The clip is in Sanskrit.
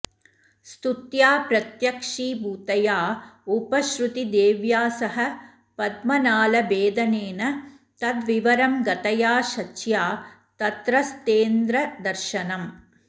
स्तुत्या प्रत्यक्षीभूतया उपश्रुतिदेव्यासह पद्मनालभेदनेन तद्विवरं गतया शच्या तत्रस्थेन्द्रदर्शनम्